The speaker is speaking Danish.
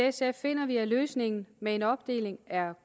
sf finder vi at løsningen med en opdeling er